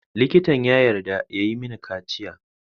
Likitan ya yarda ya yi mini kaciya.